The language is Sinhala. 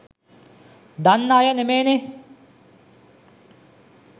දන්න අය නෙමේනේ.